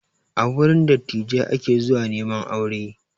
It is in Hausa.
A wurin dattijai ake zuwa neman aure